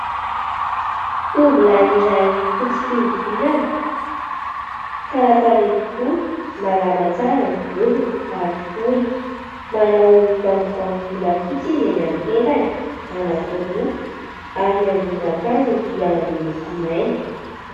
Tovolahy iray fotsy fihodirana, tsara tarehy tokoa, malama tsara ny volony ary fohy, manao vangovango volafotsy izy eny amin'ny tendany anankiroa ary ny ambonin'akanjony dia miloko mainty.